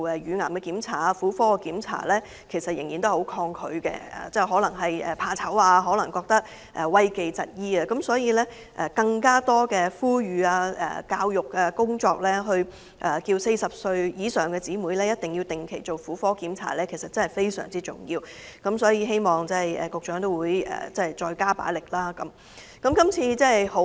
因此，政府應該多加呼籲婦女注意身體健康及加強公眾教育工作，提醒40歲以上的女士必須定期進行婦科檢查，這點確實非常重要，希望局長會再加大這方面工作的力度。